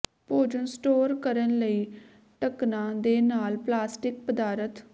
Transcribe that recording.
ਭੋਜਨ ਸਟੋਰ ਕਰਨ ਲਈ ਢੱਕਣਾਂ ਦੇ ਨਾਲ ਪਲਾਸਟਿਕ ਪਦਾਰਥ